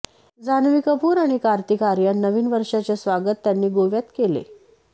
जान्हवी कपूर आणि कार्तिक आर्यन नवीन वर्षाचे स्वागत त्यांनी गोव्यात केले